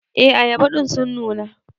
E ayaba din sun nuna.